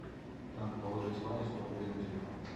надо положить ване сто рублей на телефон